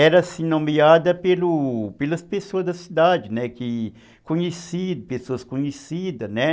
Era assim nomeada pelo, pelas pessoas da cidade, né, que, conheci pessoas conhecidas, né.